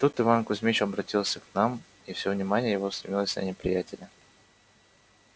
тут иван кузмич оборотился к нам и все внимание его устремилось на неприятеля